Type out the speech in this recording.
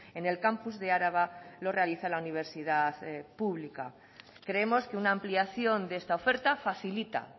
en el campus de araba lo realiza la universidad pública creemos que una ampliación de esta oferta facilita